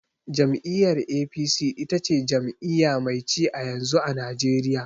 Jam'iyyar "A.P.C" ita ce jami'iya mai ci a yanzu, a najeriya